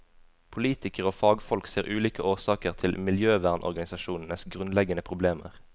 Politikere og fagfolk ser ulike årsaker til miljøvernorganisasjonenes grunnleggende problemer.